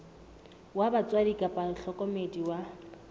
wa batswadi kapa mohlokomedi wa